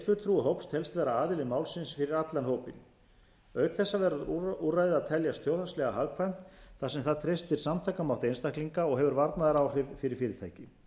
vera aðili málsins fyrir allan hópinn auk þessa verður úrræðið að teljast þjóðhagslega hagkvæmt þar sem það treystir samtakamátt einstaklinga og hefur varnaðaráhrif fyrir fyrirtæki